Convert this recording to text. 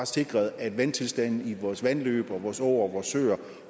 sikret at vandtilstanden i vores vandløb og vores åer og vores søer